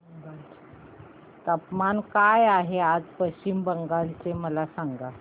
तापमान काय आहे पश्चिम बंगाल चे मला सांगा